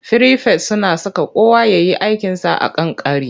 Firifet suna saka kowa ya yi aikinsa a kan kari.